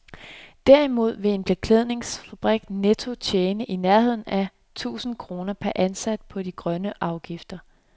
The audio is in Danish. Derimod vil en beklædningsfabrik netto tjene i nærheden af et tusind kroner per ansat på de grønne afgifter.